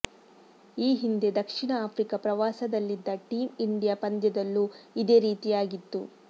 ಈ ಹಿಂದೆ ದಕ್ಷಿಣ ಆಫ್ರಿಕಾ ಪ್ರವಾಸದಲ್ಲಿದ್ದ ಟೀಂ ಇಂಡಿಯಾ ಪಂದ್ಯದಲ್ಲೂ ಇದೇ ರೀತಿಯಾಗಿತ್ತು